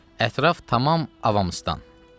Ətraf tamam avamstan.